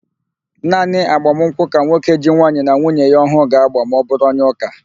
Naanị agbamụnkwụ ka nwoke ji nwaanyị na nwuye ya ọhụụ ga-ágbà ma ọbụrụ onye ụ́kà.